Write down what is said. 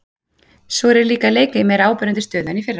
Svo er ég líka að leika í meira áberandi stöðu en í fyrra.